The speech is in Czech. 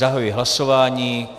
Zahajuji hlasování.